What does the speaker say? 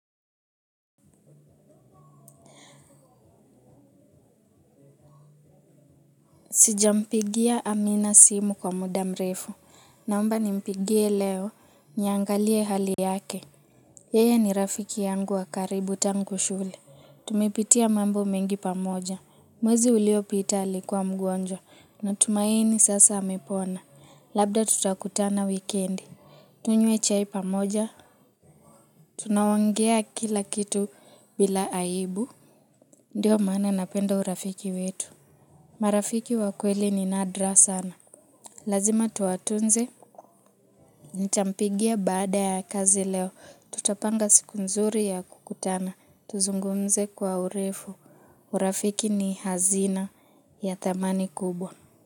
Sijampigia amina simu kwa muda mrefu naomba nimpigie leo niangalie hali yake. Yeye ni rafiki yangu wa karibu tangu shule. Tumepitia mambo mengi pamoja. Mwezi uliopita alikuwa mgonjwa natumaini sasa amepona. Labda tutakutana wikendi. Tunywe chai pamoja. Tunaongea kila kitu bila aibu. Ndiyo maana napenda urafiki wetu. Marafiki wa kweli ni nadra sana. Lazima tuwatunze, ntampigia baada ya kazi leo, tutapanga siku nzuri ya kukutana, tuzungumze kwa urefu, urafiki ni hazina ya thamani kubwa.